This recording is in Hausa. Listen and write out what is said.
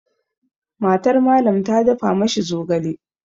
MatarMallam ta dafa ma shi zogale.